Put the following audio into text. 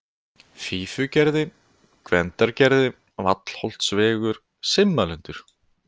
Fífugerði, Gvendargerði, Vallholtsvegur, Simmalundur